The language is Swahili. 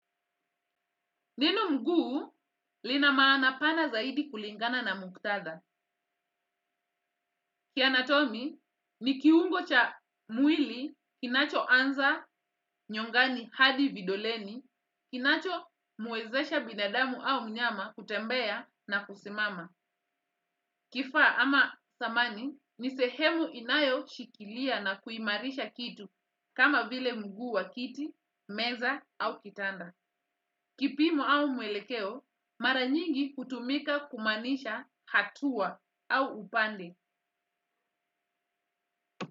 Neno mguu lina maana pana zaidi kulingana na muktadha. Kianatomi, ni kiungo cha mwili kinachoanza nyongani hadi vidoleni, kinachomwezesha binadamu au mnyama kutembea na kusimama. Kifaa ama samani ni sehemu inayoshikilia na kuimarisha kitu kama vile mguu wa kiti, meza au kitanda. Kipimo au mwelekeo, mara nyingi hutumika kumaanisha hatua au upande.